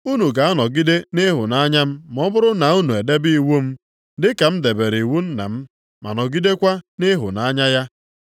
Unu ga-anọgide nʼịhụnanya m ma ọ bụrụ na unu edebe iwu m. Dị ka m debere iwu Nna m ma nọgidekwa nʼịhụnanya ya.